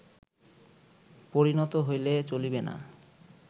পরিণত হইলে চলিবে না